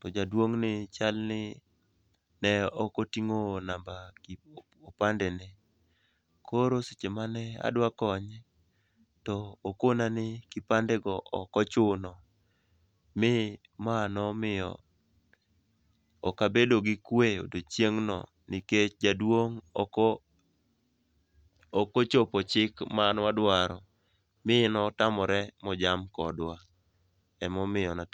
to jaduong'ni chal ni ne ok oting'o namba opandene, koro seche mane adwa konye, to okona ni kipandego ok ochuno, ma nomiyo ok abedo gi kwe odiochieng'no nikech jaduong' ok ochopo chik mane wadwaro, mi notamore mojam kodwa. Emomiyo natimo